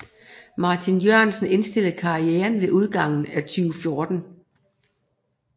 Martin Jørgensen indstillede karrieren ved udgangen af 2014